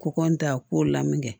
K'o ta ko lamini kɛ